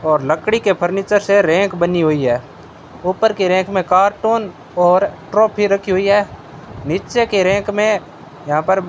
और लकड़ी के फर्नीचर से रैक बनी हुई है ऊपर के रैंक में कार्टून और ट्रॉफी रखी हुई है नीचे के रैक में यहां पर--